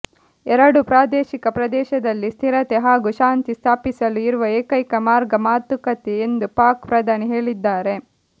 ಎರಡು ಪ್ರಾದೇಶಿಕ ಪ್ರದೇಶದಲ್ಲಿ ಸ್ಥಿರತೆ ಹಾಗೂ ಶಾಂತಿ ಸ್ಥಾಪಿಸಲು ಇರುವ ಏಕೈಕ ಮಾರ್ಗ ಮಾತುಕತೆ ಎಂದು ಪಾಕ್ ಪ್ರಧಾನಿ ಹೇಳಿದ್ದಾರೆ